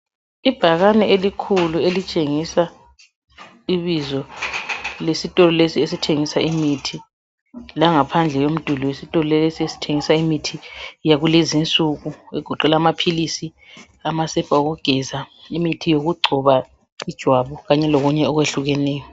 Ibhakane elikhulu elitshengisa ibizo lesitolo lesi esithengisa imithi, langaphandle umduli wesitolo lesi esithengisa imithi yakulezi insuku egoqela amaphilisi, amasepa okugeza ,imithi yokugcoba ijwabu kanye lokunye okwehlukeneyo.